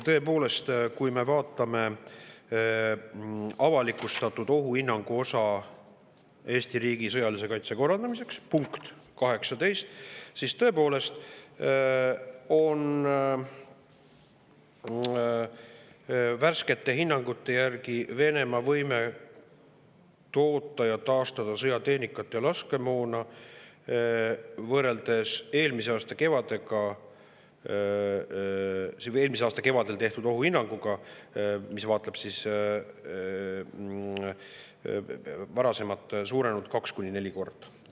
Tõepoolest, kui me vaatame Eesti riigi sõjalise kaitse korraldamise ohuhinnangu avalikustatud osa, selle punkti 18, siis näeme, et värskete hinnangute järgi on Venemaa võime toota ja taastada sõjatehnikat ja toota laskemoona võrreldes eelmise aasta kevadel tehtud ohuhinnanguga, mis vaatleb varasemat aega, suurenenud kaks kuni neli korda.